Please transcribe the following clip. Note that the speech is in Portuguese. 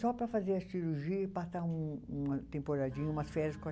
Só para fazer a cirurgia e passar um uma temporadinha, umas férias.